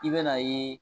I bɛ n'a ye